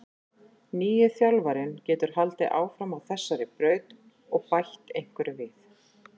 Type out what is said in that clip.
Nýi þjálfarinn getur haldið áfram á þessari braut og bætt einhverju við.